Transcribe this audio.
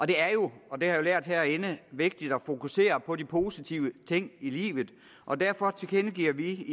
det er jo og det har jeg lært herinde vigtigt at fokusere på de positive ting i livet og derfor tilkendegiver vi